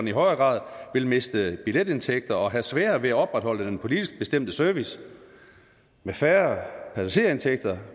i højere grad vil miste billetindtægter og have sværere ved at opretholde den politisk bestemte service med færre passagerindtægter